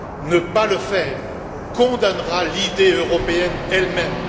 Ne pas le faire condamnera l'idée européenne elle même.